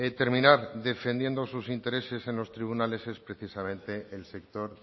terminar defendiendo sus intereses en los tribunales es precisamente el sector